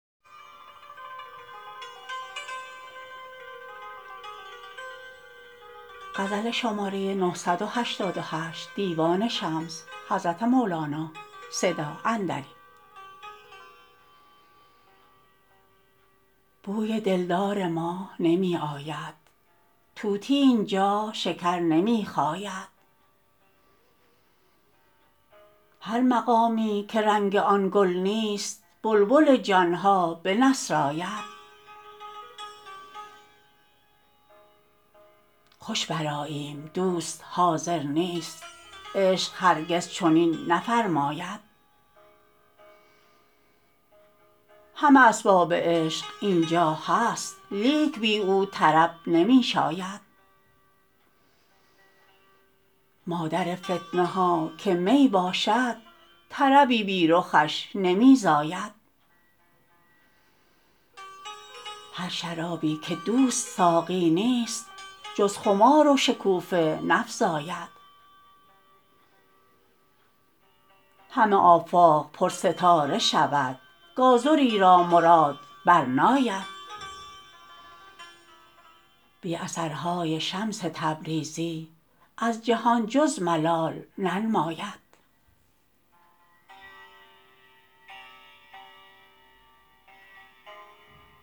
بوی دلدار ما نمی آید طوطی این جا شکر نمی خاید هر مقامی که رنگ آن گل نیست بلبل جان ها بنسراید خوش برآییم دوست حاضر نیست عشق هرگز چنین نفرماید همه اسباب عشق این جا هست لیک بی او طرب نمی شاید مادر فتنه ها که می باشد طربی بی رخش نمی زاید هر شرابی که دوست ساقی نیست جز خمار و شکوفه نفزاید همه آفاق پرستاره شود گازری را مراد برناید بی اثرهای شمس تبریزی از جهان جز ملال ننماید